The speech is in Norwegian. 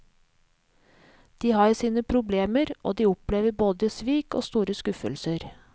De har sine problemer, og de opplever både svik og store skuffelser.